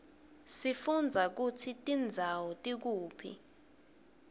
sifundza kutsi tindzawo tikuphi